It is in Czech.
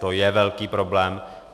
To je velký problém.